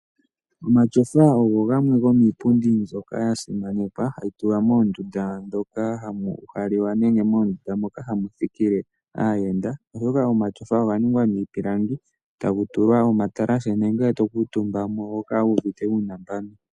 Omatyofa ogo gamwe gomiipundi mbyoka ya simanekwa hayi tulwa moondunda dhoka hamu uhalelewa nenge moondunda moka hamu thikile aayanda oshoka omatsofa oga ningwa miipilangi taku tukwa omatalahe nongele to kuutumbako oho kala wu uvite uunambano.